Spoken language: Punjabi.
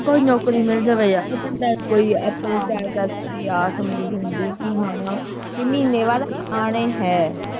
ਕੋਈ ਨੌਕਰੀ ਮਿਲ ਜਾਵੇ ਯਾਰ ਬੰਦਾ ਕੋਈ ਆਪਣੇ ਹਾਂ ਆਸ ਉਮੀਦ ਹੁੰਦੀ ਕਿ ਹਾਂ ਕਿ ਮਹੀਨੇ ਬਾਅਦ ਆਣੇ ਹੈ।